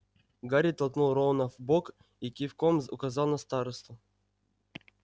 гарри толкнул рона в бок и кивком указал на старосту